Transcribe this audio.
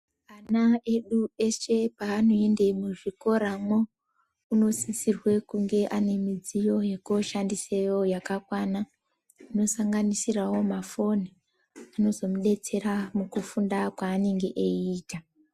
Ana edu eshe paanoenda muzvikora mo unosisirwe kuve ane midziyo yekushandiseyo yakakwana inosanganisirawo mafoni anozomudetsera mukufunda kwaanenge eiita.